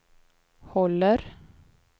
håller